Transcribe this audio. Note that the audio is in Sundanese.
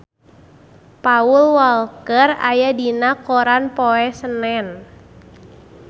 Paul Walker aya dina koran poe Senen